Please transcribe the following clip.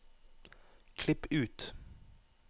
klipp ut